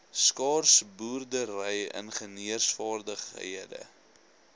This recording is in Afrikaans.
skaars boerdery ingenieursvaardighede